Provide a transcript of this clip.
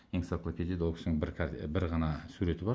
энциклопедияда ол кісінің бір ғана суреті бар